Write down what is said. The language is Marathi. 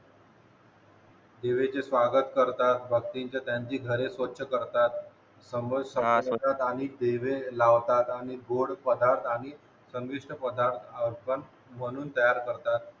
दिव्याचे स्वागत करतात भक्तीचे त्यांची घरे स्वच्छ करतात समई समोर ठेवतात आणि दिवे लावतात आणि गोड पदार्थ आणि चविष्ट पदार्थ आपण बनवून तयार करतात